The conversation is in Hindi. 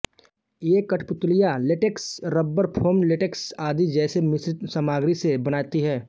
ये कठपुतलियां लेटेक्स रबर फोम लेटेक्स आदि जैसे मिश्रित सामग्री से बनाती हैं